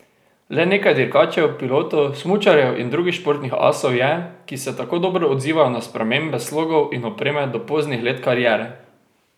Le nekaj dirkačev, pilotov, smučarjev in drugih športnih asov je, ki se tako dobro odzivajo na spremembe slogov in opreme do poznih let kariere.